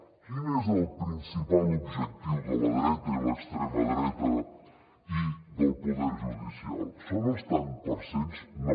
quin és el principal objectiu de la dreta i l’extrema dreta i del poder judicial són els tants per cent no